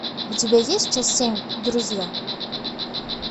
у тебя есть часть семь друзья